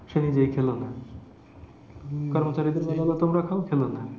সে নিজেই খেলো না। কর্মচারীদের বলা হলো তোমরা খাও খেলোনা।